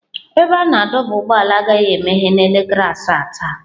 Ebe a na-adọba ụgbọala agaghị emeghe n'elekere asaa taa.